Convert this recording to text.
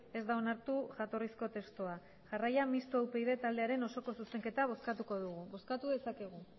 ez da onartu jatorrizko testua jarraian mistoa upyd taldearen osoko zuzenketa bozkatuko dugu bozkatu dezakegu